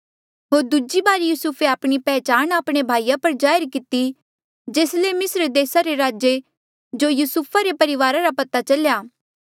होर दूजी बारी यूसुफे आपणी पैहचाण आपणे भाईया पर जाहिर किती जेस ले मिस्र देसा रे राजे जो युसुफा रे परिवारा रा पता चलेया